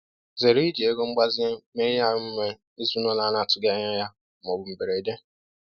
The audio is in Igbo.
Zere iji ego mgbazinye mee ihe omume ezinụlọ a na-atụghị anya ya ma ọ bụ mberede.